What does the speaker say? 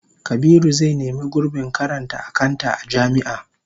Kabiru zai nemi gurbin karanta akanta a jami'a